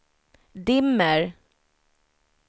dimmer